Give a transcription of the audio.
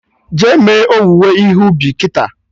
Jee me owuwe ihe ubi kịta!